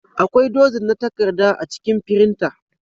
Akwai dozin na takarda a cikin firinta.